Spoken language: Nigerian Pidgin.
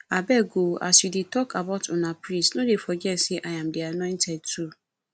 abeg oo as you dey talk about una priest no dey forget say im dey annointed oo